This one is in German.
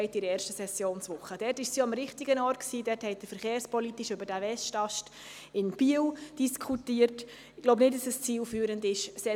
Das revidierte Gewässerschutzgesetz verlangt die Ausscheidung von Gewässerräumen entlang aller oberirdischen Gewässer.